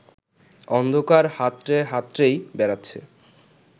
অন্ধকার হাতড়ে হাতড়েই বেড়াচ্ছে